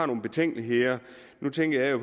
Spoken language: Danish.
nogle betænkeligheder nu tænker jeg